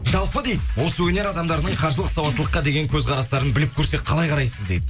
жалпы дейді осы өнер адамдарының қаржылық сауаттылыққа деген көзқарастарын біліп көрсек қалай қарасыз дейді